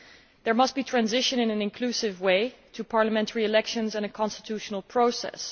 There must be a transition, in an inclusive way, to parliamentary elections and a constitutional process.